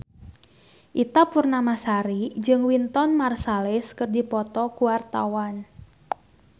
Ita Purnamasari jeung Wynton Marsalis keur dipoto ku wartawan